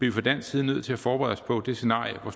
vi fra dansk side nødt til at forberede os på det scenarie hvor